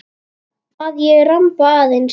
Að ég ramba aðeins.